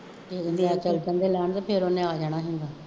ਇਹਨੇ ਬੰਦੇ ਲਿਆਂਦੇ ਫੇਰ ਉਹਨੇ ਆ ਜਾਣਾ ਹੁਣ